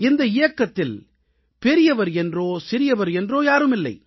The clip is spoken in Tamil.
இந்த இயக்கத்தில் பெரியவர் என்றோ சிறியவர் என்றோ யாருமில்லை